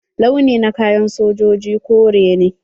Launi na kayan sojoji kore ne.